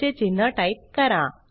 चे चिन्ह टाइप करा